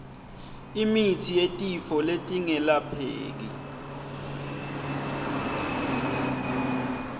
imitsi yetifo letingelapheki